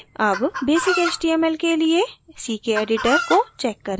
अब basic html के लिए ckeditor को check करें